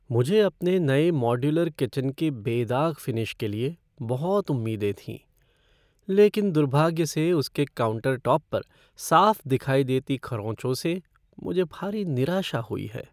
मुझे अपने नए मॉड्यूलर किचन के बेदाग फ़िनिश के लिए बहुत उम्मीदें थीं, लेकिन दुर्भाग्य से उसके काउंटरटॉप पर साफ़ दिखाई देती खरोचों से मुझे भारी निराशा हुई है।